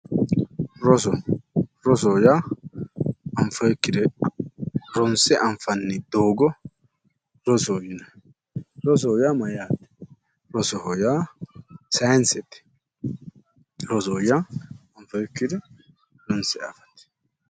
Roso, rosoho yaa anfoonikkire ronse anfaa ni doogo rosoho yinnanni ,rosoho yaa mayate ,rosoho yaa sayinisete, roso yaa anfoonikkire hanse afate